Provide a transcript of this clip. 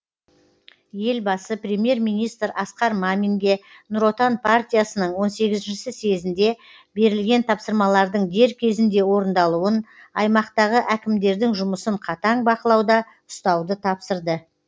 елбасы премьер министр асқар маминге нұр отан партиясының он сегізінші съезінде берілген тапсырмалардың дер кезінде орындалуын аймақтағы әкімдердің жұмысын қатаң бақылауда ұстауды тапсырды